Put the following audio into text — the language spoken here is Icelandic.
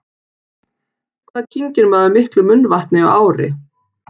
Hvað kyngir maður miklu munnvatni á ári?